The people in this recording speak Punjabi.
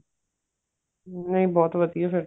ਨਹੀਂ ਬਹੁਤ ਵਧੀਆ ਫ਼ੇਰ